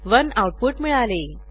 1 output मिळाले